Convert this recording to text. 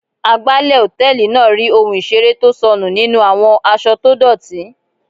Agbálẹ̀ hòtẹ́ẹ̀lì náà rí ohun ìseré tó sọnù nínú àwọn aṣọ tó dọ́tì.